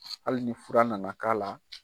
Hali ni fura nana k'a la.